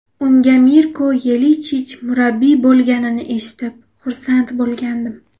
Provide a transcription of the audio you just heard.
Unga Mirko Yelichich murabbiy bo‘lganini eshitib, xursand bo‘lgandim.